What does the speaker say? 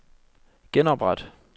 genopret